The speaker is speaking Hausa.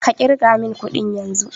Ka ƙirga mun ƙudin yanzun!